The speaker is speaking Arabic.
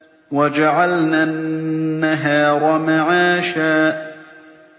وَجَعَلْنَا النَّهَارَ مَعَاشًا